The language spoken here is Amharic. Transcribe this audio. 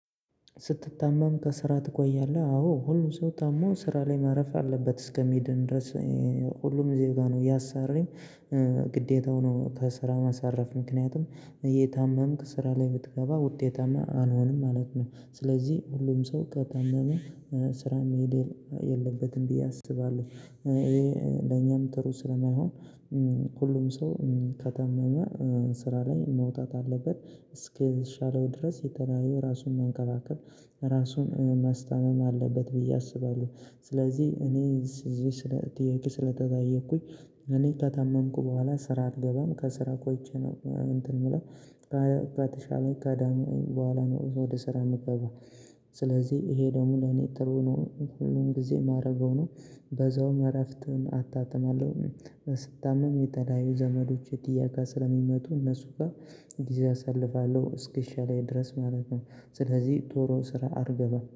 ስትታመም ከስራ ትቆያለህ አዎ ሁሉ ሰው ታሞ ስራ ላይ ማረፍ አለበት እስከሚድን ድረስ። ሁሉም ዜጋ ነው የአሰሪም ግዴታው ነው። ከስራ ማሳረፍ ምክንያቱም እየታመምክ ስራ ላይ ብትገባ ውጤታማ አልሆንም ማለት ነው። ስለዚህ ሁሉም ሰው ከታመመ ስራ መሄድ የለበትም ብዬ አስባለሁ። ይሄ ለኛም ጥሩ ስለማይሆን ሁሉም ሰው ከታመመ ስራ ላይ መውጣት አለበት እስኪሻለው ድረስ የተለያዩ ራሱን መንከባከብ ራሱን ማስታመም አለበት ብዬ አስባለሁ። ስለዚህ እኔ የተጠየኩኝ እኔ ከታመምኩ በኋላ ስራ አልገባም ከስራ ቆይቼ ነው እንትን የምለው ከተሻለ በኋላ ነው ወደ ስራ የምገባው። ስለዚህ ይሄ ደግሞ ለኔ ጥሩ ነው ሁሉን ጊዜ የማደርገው ነው በዛውም እረፍትን አጣጥማለሁ። ስታመም የተለያዩ ዘመዶች ለመጠየቅ ስለሚመጡ እነሱ ጋር እንዲህ አሳልፋለሁ እስኪሻለኝ ድረስ ማለት ነው። ስለዚህ ዞሮ ስራ አልገባም